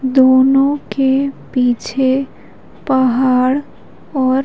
दोनों के पीछे पहाड़ और--